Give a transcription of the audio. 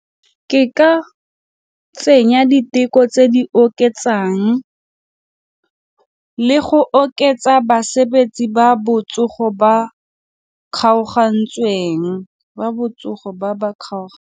Ke ka tsenya diteko tse di oketsang le go oketsa basebetsi ba botsogo ba kgaogantsweng ba botsogo ba ba .